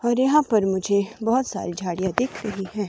और यहां पर मुझे बहुत सारी झाड़ियां दिख रही है।